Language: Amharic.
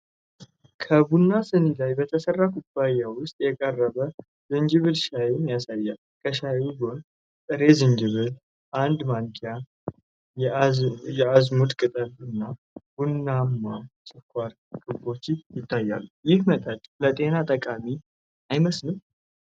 ከቡናማ ድኒ ላይ በተሠራ ኩባያ ውስጥ የቀረበ ዝንጅብል ሻይን ያሳያል። ከሻዩ ጎን ጥሬ ዝንጅብል፣ አንድ ማንኪያ፣ የአዝሙድ ቅጠል እና ቡናማ ስኳር ክቦች ይታያሉ፤ ይህ መጠጥ ለጤንነት ጠቃሚ አይመስልም?